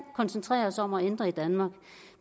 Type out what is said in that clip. koncentrere os om at ændre i danmark